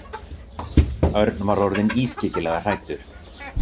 Örn var orðinn ískyggilega hræddur.